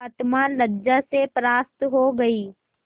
आत्मा लज्जा से परास्त हो गयी